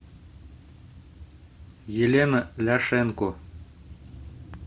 елена ляшенко